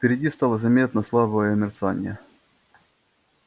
впереди стало заметно слабое мерцание